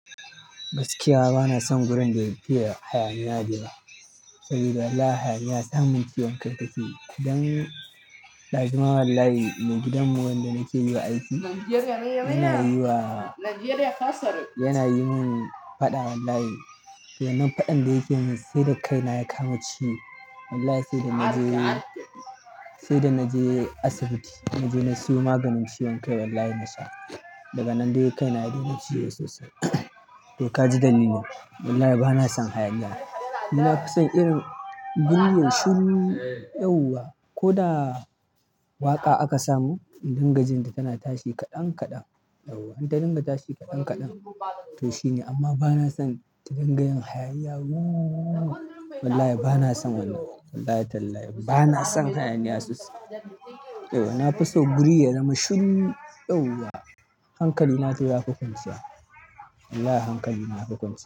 Gaskiya bana son gurin da yafiya hayaniya dayawa. Saboda wallahi yahaniya samun ciwon kai takeyi. Dan ɗazun ma wallahi mai gidan mu wanda nake yiwa aiki yana yi wa, yana yi mun faɗa wallahi. Nan faɗan da yake yi min sai da kaina ya kama ciwo. Wallahi sai da na je, sai da na je asibiti na je na siyo maganin ciwon kai wallahi na sha. Daga nan dai kaina yadai na ciwo sosai. To kaji dalilin. Wallahi bana son hayaniya. Ni na fi son irin guri yayi shiru, yauwa. Ko da waƙa aka samun in dinga jinta tana tashi kaɗan kaɗan. Idan ta dinga tashi kaɗan kaɗan. To shine. Amma bana son tadinga yin hayaniya woo wallahi bana son wannan. Wallahi wallahi banason hayaniya, yauwa nafison guri yayi shiru. Hankali na dai yafi kwanciya. Wallahi hankali na yafi kunsu.